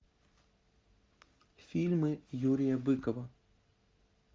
фильмы юрия быкова